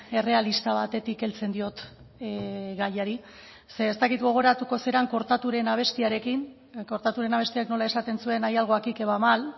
errealista batetik heltzen diot gaiari ez dakit gogoratuko zaren kortaturen abestiarekin kortaturen abestiak nola esaten zuen hay algo aquí que va mal